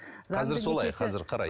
қазір солай қазір қарайды